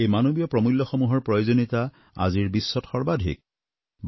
এই মানৱীয় প্ৰমূল্যসমূহৰ প্ৰয়োজনীয়তা আজিৰ বিশ্বত সৰ্বাধিক